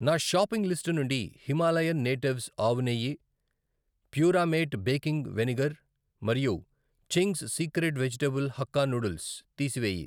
నా shopping list నుండి Himalayan natives ఆవు నెయ్యి, ప్యూరామేట్ బేకింగ్ వెనిగర్ మరియు Ching's secret vegetable hakka noodles తీసివేయి.